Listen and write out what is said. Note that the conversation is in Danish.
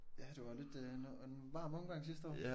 Ja det var lidt øh en varm omgang sidste år